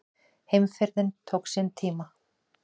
Heimferðin tók sinn tíma.